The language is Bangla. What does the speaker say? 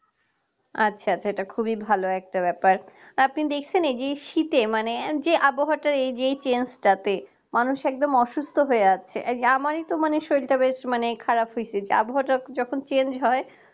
আচ্ছা সেটা খুবই ভালো একটা ব্যাপার। আপনি দেখছেন এই যে শীতে মানে যে আবহাওয়াটা এই যে এই change টাতে মানুষ একদম অসুস্থ হয়ে আছে। আমারই তো মানে শরীরটা বেশ মানে খারাপ হইতেছে। আবহাওয়াটা যখন change হয়